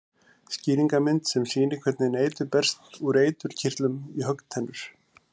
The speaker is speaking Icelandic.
Skýringarmynd sem sýnir hvernig eitur berst úr eiturkirtli í höggtennur.